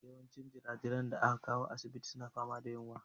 Yawancin jirajiran da aka kawo asibitin suna fama da yunwa.